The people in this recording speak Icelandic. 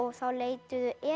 þá leituðu